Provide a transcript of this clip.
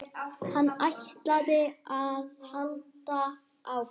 Hann ætlaði að halda áfram.